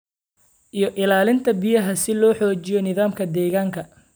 iyo ilaalinta biyaha, si loo xoojiyo nidaamka deegaanka.